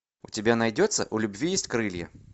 у тебя найдется у любви есть крылья